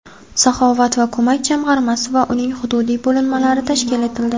"Saxovat va ko‘mak" jamg‘armasi va uning hududiy bo‘linmalari tashkil etildi.